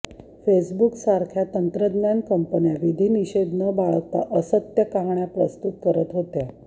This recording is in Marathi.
फेसबुकसारख्या तंत्रज्ञान कंपन्या विधिनिषेध न बाळगता असत्य कहाण्या प्रसृत करत होत्या